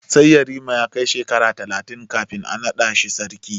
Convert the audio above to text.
Sai yarima ya kai shekara talatin kafin a naɗa shi sarki.